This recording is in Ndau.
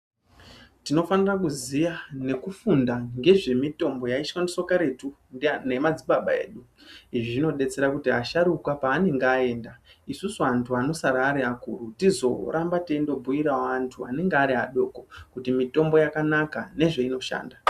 Tinofana kuziya nekufundo nezvemitombo yaishandiswa karetu nemadzibaba edu izvi zvinodetsera kuti asharukwa edu panenge aenda isusu antu anosara Ari akuru tizoramba teibhuirawo antu anenge Ari adoko kuti mitombo yakanaka nezvainoshanda.